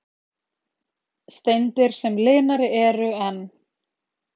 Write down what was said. Steindir sem linari eru en